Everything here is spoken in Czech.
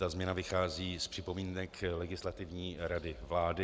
Ta změna vychází z připomínek Legislativní rady vlády.